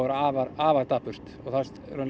afar afar dapurt það